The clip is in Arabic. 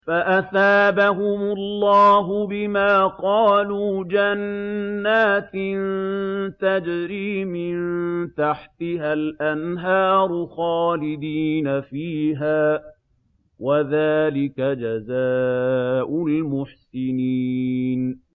فَأَثَابَهُمُ اللَّهُ بِمَا قَالُوا جَنَّاتٍ تَجْرِي مِن تَحْتِهَا الْأَنْهَارُ خَالِدِينَ فِيهَا ۚ وَذَٰلِكَ جَزَاءُ الْمُحْسِنِينَ